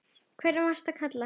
hvern varstu að kalla?